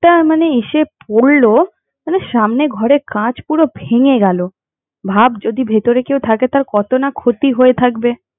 তা মানে এসে পড়লো মানে সামনের ঘরের কাঁচ পুরো ভেঙে গেলো ভাব যদি ভিতরে কেউ থাকে তার কত না ক্ষতি হয়ে থাকবে।